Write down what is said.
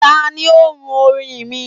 tani o run orin mi?